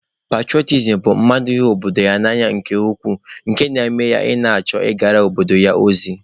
Petụrọtism bụ mmadụ ịhụ obodo ya n'anya nke ukwuu nke na-eme ya ịchọ ị na-agara obodo ya ozi.